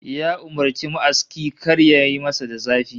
Ya umurci ma'aski kar yayi masa da zafi